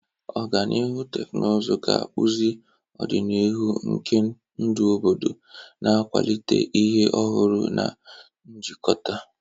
Ọganihu teknụzụ ga-akpụzi ọdịnihu nke ndụ obodo, na-akwalite ihe ọhụrụ na njikọta.